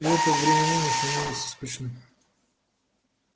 и это временами становится скучным